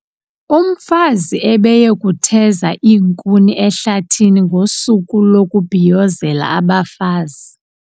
Umfazi ebeye kutheza iinkuni ehlathini ngosuku lokubhiyozela abafazi.